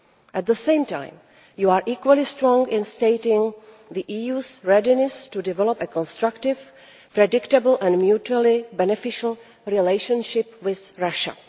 At the same time, you are equally strong in stating the EU's readiness to develop a constructive, predictable and mutually beneficial relationship with Russia.